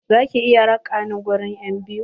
Za ki iya raƙa ni ganin enbiyu?